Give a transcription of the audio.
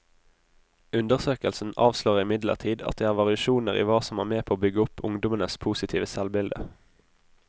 Undersøkelsen avslører imidlertid at det er variasjoner i hva som er med på å bygge opp ungdommenes positive selvbilde.